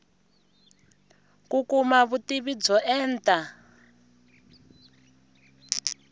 ku kuma vutivi byo enta